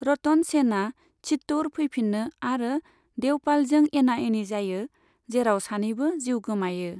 रतन सेनआ चित्तौड़ फैफिनो आरो देवपालजों एना एनि जायो, जेराव सानैबो जिउ गोमायो।